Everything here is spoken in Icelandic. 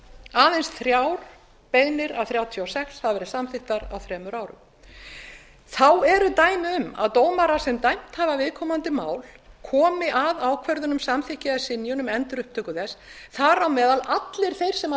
aðeins þrjár beiðnir af þrjátíu og sex hafa samþykktar á tíu árum þá eru dæmi um að dómarar sem dæmt hafa viðkomandi mál komi að ákvörðun um samþykki eða synjun um endurupptöku þess þar á meðal allir þeir sem